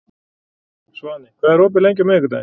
Svani, hvað er opið lengi á miðvikudaginn?